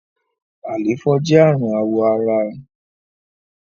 àléfọ jẹ arun awọ àrà